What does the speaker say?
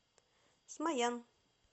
смоян